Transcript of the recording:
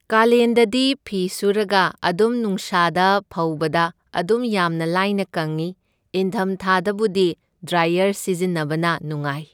ꯀꯥꯂꯦꯟꯗꯗꯤ ꯐꯤ ꯁꯨꯔꯒ ꯑꯗꯨꯝ ꯅꯨꯡꯁꯥꯗ ꯐꯧꯕꯗ ꯑꯗꯨꯝ ꯌꯥꯝꯅ ꯂꯥꯏꯅ ꯀꯪꯢ, ꯏꯪꯊꯝ ꯊꯥꯗꯕꯨꯗꯤ ꯗ꯭ꯔꯥꯏꯌꯔ ꯁꯤꯖꯤꯟꯅꯕꯅ ꯅꯨꯡꯉꯥꯏ꯫